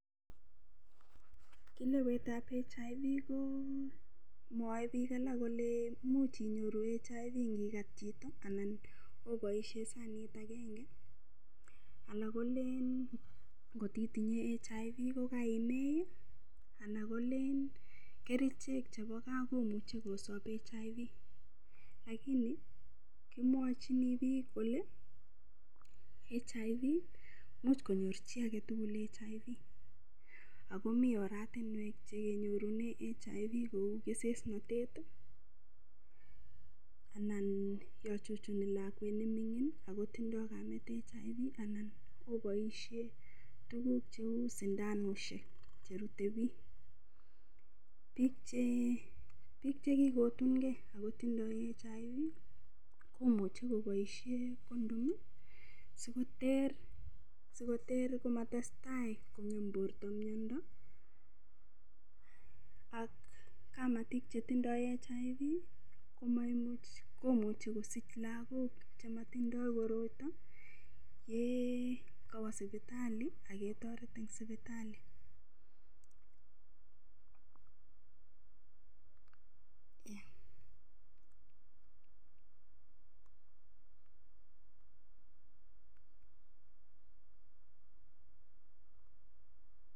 Kilewet ab HIV komwoei piik alak kole much inyoru HIV ngikat chito anan oboishe sanit agenge alak kole ngotitinye HIV kokaimei alak kole kerichek chebo kaa komuchei kosop HIV lakini kimwochini piik kole much konyor chi agetugul HIV akomii oratinwek chekenyorune HIV kou kesesnotet anan yo chuchuni lakwet nemining akotindoi kamet HIV anan oboishe tukuk cheu sindanoshiek cherutei piik piik chekikotungei akotindoi HIV komuchei koboishe condom sikoter komatestai kong'em borto miondo ak kamatik chetindoi HIV komuchei kosich lakok chematindoi koroito ye kawo sipitali aketoret eng sipitali